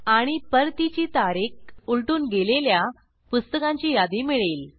आणि परतीची तारीख उलटून गेलेल्या पुस्तकांची यादी मिळेल